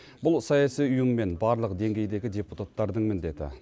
бұл саяси ұйым мен барлық деңгейдегі депутаттардың міндеті